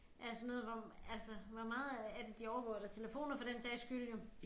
Alt sådan noget hvor altså hvor meget er det de overvåger eller telefoner for den sags skyld jo